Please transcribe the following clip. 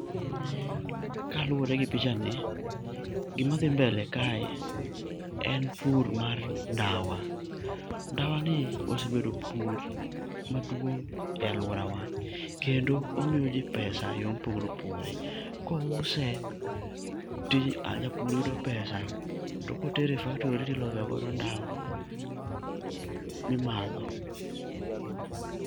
Kaluwore gi pichani, gima dhi mbele kae en pur mar ndawa. Ndawa ni osebedo pur maduong' e alworawa, kendo omiyo ji pesa e yo mopogore opogore. Kouse ti japur yudo pesa, to kotere e faktori tilosogodo ndawa, mimadho.